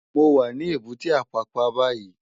Mó wá ni ébùté Ápàpá bàyí